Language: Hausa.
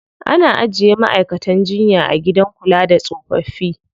Ana ajiye ma'aikatan jinya a gidan kula da tsofaffi.